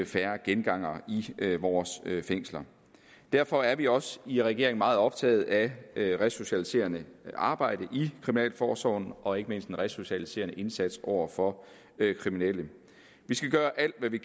færre gengangere i vores fængsler derfor er vi også i regeringen meget optaget af det resocialiserende arbejde i kriminalforsorgen og ikke mindst den resocialiserende indsats over for kriminelle vi skal gøre alt hvad vi